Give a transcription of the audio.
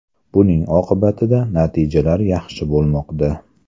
Buning oqibatida natijalar yaxshi bo‘lmoqda.